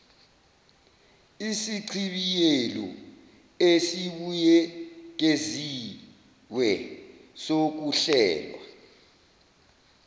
isichibiyelo esibuyekeziwe sokuhlelwa